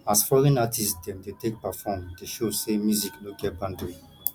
as foreign artist dem dey take perform dey show sey music no get boundary